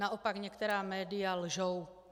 Naopak, některá média lžou.